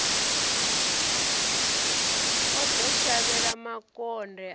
o ḓo shavhela makonde a